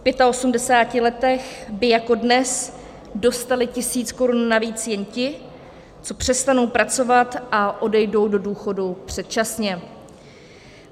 V 85 letech by jako dnes dostali tisíc korun navíc jen ti, co přestanou pracovat a odejdou do důchodu předčasně.